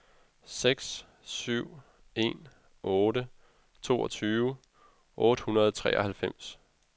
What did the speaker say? seks syv en otte toogtyve otte hundrede og treoghalvfems